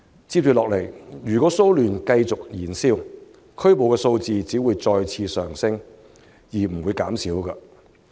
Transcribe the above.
接下來，如果騷亂繼續燃燒，拘捕的數字只會上升而不會減少。